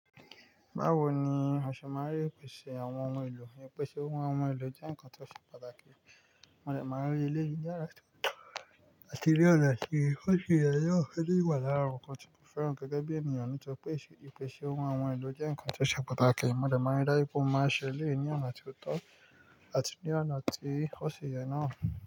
Báwo ni aṣe máa rí ìpèsè àwọn ohun èlò? Ìpèsè ohun àwọn ohun èlò jẹ́ ǹkan tó ṣe pàtàkì. A lè máa rí i lẹ́yìn yàrá tó tọ́ àti ní ọ̀nà tí ó ṣe yẹ, ó fẹ́ lè wà lára nǹkan tí mo fẹ́ rán gẹ́gẹ́ bí ènìyàn nípa ìpèsè ohun àwọn ohun èlò jẹ́ ǹkan tó ṣe pàtàkì. Mo dẹ̀ máa rí dájú pé mo máa ṣe é lẹ́yìn ní ọ̀nà tí ó tọ́ àti ní ọ̀nà tí ó ṣe yẹ náà.